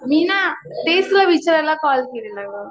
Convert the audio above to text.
मी ना तेच तुला विचारायला कॉल केलेला गं.